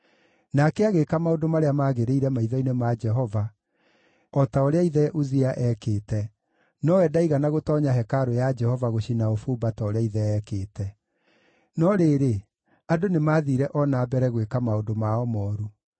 Nake agĩĩka maũndũ marĩa maagĩrĩire maitho-inĩ ma Jehova, o ta ũrĩa ithe Uzia eekĩte, nowe ndaigana gũtoonya hekarũ ya Jehova gũcina ũbumba ta ũrĩa ithe eekĩte. No rĩrĩ, andũ nĩmathiire o na mbere gwĩka maũndũ mao mooru.